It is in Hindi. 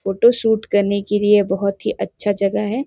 फोटो शूट करने के लिए बहुत ही अच्छा जगह है।